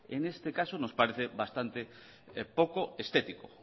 en este caso nos parece bastante poco estético